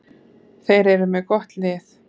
Þeir eru með gott lið.